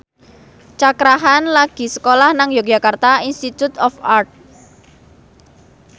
Cakra Khan lagi sekolah nang Yogyakarta Institute of Art